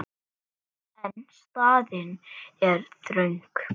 En staðan er þröng.